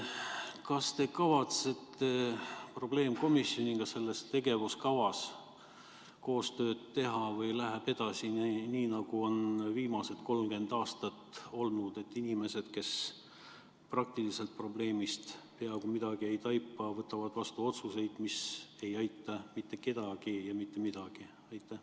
Kas te kavatsete probleemkomisjoniga selle tegevuskava huvides koostööd teha või läheb edasi nii, nagu on viimased 30 aastat olnud: et inimesed, kes praktiliselt probleemist peaaegu midagi ei taipa, võtavad vastu otsuseid, mis ei aita mitte kedagi ja mitte mingis mõttes?